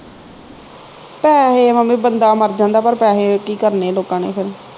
ਪੈਹੇ ਮੰਮੀ ਬੰਦਾ ਮਰ ਜਾਂਦਾ ਪਰ ਪੈਹੇ ਕੀ ਕਰਨੇ ਲੋਕਾਂ ਨੇ ਫਿਰ